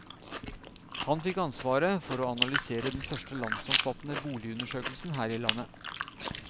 Han fikk ansvaret for å analysere den første landsomfattende boligundersøkelsen her i landet.